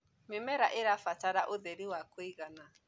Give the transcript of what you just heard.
mĩmera irabatara ũtheri wa kũigana